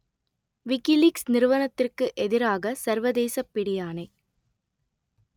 WikiLeaks நிறுவனத்திற்கு எதிராக சர்வதேசப் பிடியாணை